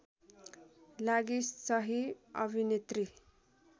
लागि सहि अभिनेत्री